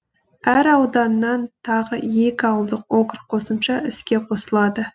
әр ауданнан тағы екі ауылдық округ қосымша іске қосылады